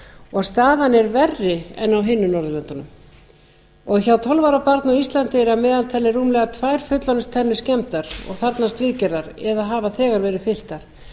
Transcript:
og staðan er verri en á hinum norðurlöndunum hjá tólf ára barni á íslandi eru að meðaltali tvær fullorðinstennur skemmdar og þarfnast viðgerðar eða hafa þegar verið fylltar